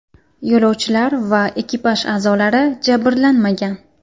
Yo‘lovchilar va ekipaj a’zolari jabrlanmagan.